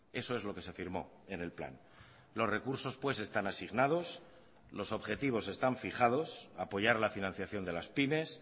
eso es lo que se firmó en el plan los recursos pues están asignados los objetivos están fijados apoyar la financiación de las pymes